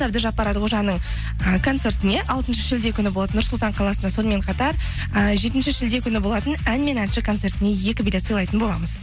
әбдіжаппар әлқожаның і концертіне алтыншы шілде күні болады нұр сұлтан қаласында сонымен қатар ііі жетінші шілде күні болатын ән мен әнші концертіне екі билет сыйлайтын боламыз